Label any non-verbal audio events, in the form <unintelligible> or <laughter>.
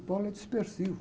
O <unintelligible> é dispersivo.